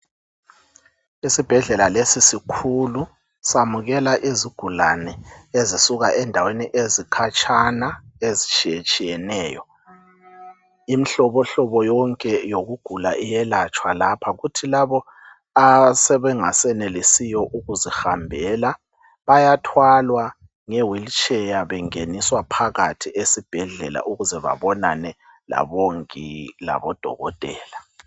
isibhedlela lesi sikhulu samukela izigulane ezisuka endaweni ezikhatshana ezitshiyetshiyeneyo imihlobohlobo yonke yokugula iyelatshwa lapha kuthi labo asebengasenelisiyo kuzihambela bayathwalwa nge wheelchair bengeniswa phakathi esibhedlela ukuze babonane labomongi labodokotela